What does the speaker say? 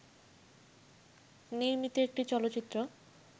নির্মিত একটি চলচ্চিত্র